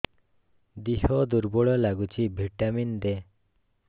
ଦିହ ଦୁର୍ବଳ ଲାଗୁଛି ଭିଟାମିନ ଦେ